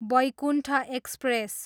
Baikuntha express